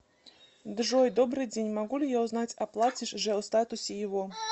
джой добрый день могу ли я узнать оплатишь же о статусе его